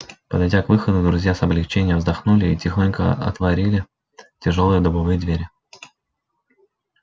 подойдя к выходу друзья с облегчением вздохнули и тихонько отворили тяжёлые дубовые двери